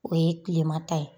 O ye tilema ta ye.